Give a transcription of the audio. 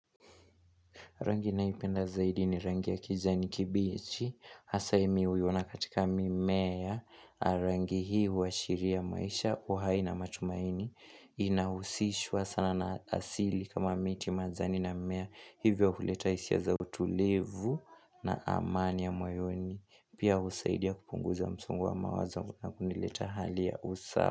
Rangi ninayo ipenda zaidi ni rangi ya kijani kibichi, hasa hii mimi huiona katika mimea, rangi huashiria maisha, uhai na matumaini, inahusishwa sana na asili kama miti, majani na mimea, hivyo huleta hisia za utulivu na amani ya moyoni, pia husaidia kupunguza msungu wa mawazo na kunileta hali ya usawa.